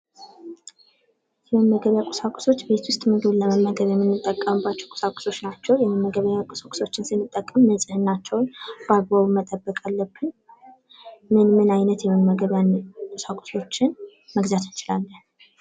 መመገበያ ቁሳቁሶች ቤት ውስጥ ምግብ ለመመገብ ምንጠቀምባቸው ቁሳቁሶች ናቸው። እነዚህ ቁሳቁሶችን ስንጠቀም ንጽህናቸውን በአግባቡ መጠበቅ አለብን። ምን ምን የመመገቢያ አይነት ቁሳቁሶችን መግዛት እንችላለን?